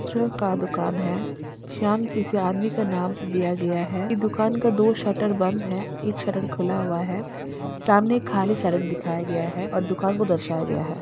वस्त्रयों का दुकान है श्याम किसी आदमी का नाम से दिया गया है इ दुकान का दो शटर बंद है एक शटर खुला हुआ है सामने एक खाली सड़क दिखाया गया है और दुकान को दर्शाया गया हैं।